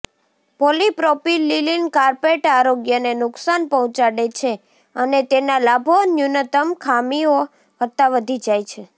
polypropylene carpet આરોગ્યને નુકસાન પહોંચાડે છે અને તેના લાભો ન્યૂનતમ ખામીઓ કરતાં વધી જાય છે